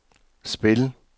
spil